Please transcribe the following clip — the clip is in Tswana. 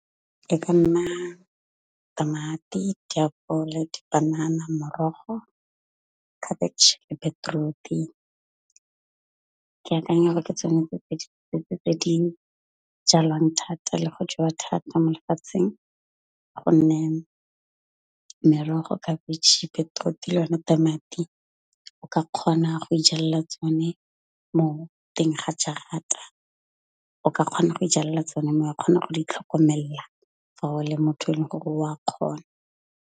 Ka nna tamati, ditapole, dipanana, morogo, cabbage le beetroot, ke akanya gore ke tsone tse tse di setse tse di jalwang thata le go jewa thata mo lefatsheng. Gonne merogo, khabitšhe, beetroot le yone tamati, o ka kgona go ijalela tsone mo teng ga jarata. O ka kgona go ijalela tsone mo wa kgona go di tlhokomela fa o le motho e leng gore o a kgona.